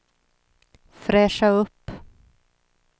fräscha upp